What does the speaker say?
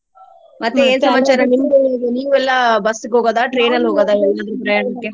ನೀವೆಲ್ಲಾ ಬಸ್ಸಿಗ್ ಹೋಗೋದಾ ?